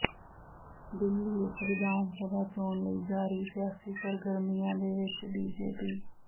ਦਿੱਲੀ ਵਿੱਚ ਵਿਧਾਨ ਸਭਾ ਚੋਣ ਲਈ ਜਾਰੀ ਸਿਆਸੀ ਸਰਗਰਮੀਆਂ ਦੇ ਵਿੱਚ ਬੀਜੇਪੀ